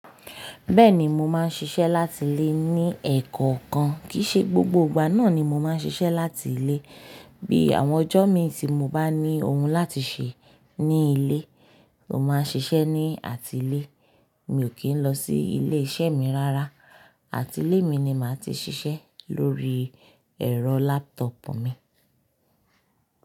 Bẹ́ẹ̀ni mo máa ń ṣiṣẹ́ láti ilé ní ẹkọkan, kìí ṣe gbogbo ìgbà náà ni mo máa ń ṣiṣẹ́ láti ilé. Bí àwọn ọjọ́ mi tí mo bá ní ohun láti ṣe ní ilé, mo máa ń ṣiṣẹ́ ní àtilé. Mi ò kí ń lọ sí ilé iṣẹ́ mi rárá. Àtilé mi ni màá ti ṣiṣẹ́ lórí ẹ̀rọ laptop mi.